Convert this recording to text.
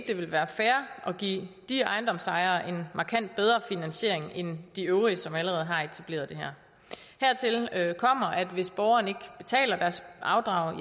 det vil være fair at give de ejendomsejere en markant bedre finansiering end de øvrige som allerede har etableret det her hertil kommer at hvis borgerne ikke betaler deres afdrag